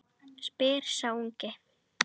spyr sá ungi.